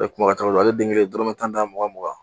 ale den kelen ye dɔrɔmɛ tan tan mugan mugan